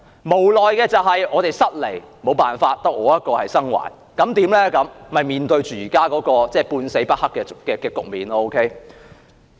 無奈的是，我們失利，沒有辦法，只有我一個生還，結果便面對現時"半死不黑"的局面。